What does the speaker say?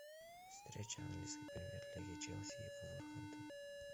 встреча английской премьер лиги челси и вулверхэмптон